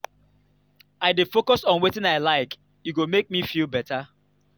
i dey focus on wetin i like e go make me feel beta